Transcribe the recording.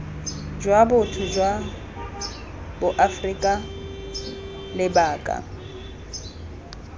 jwa botho jwa boaforika lebaka